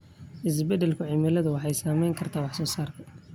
Isbeddelka cimiladu waxay saameyn kartaa wax soo saarka.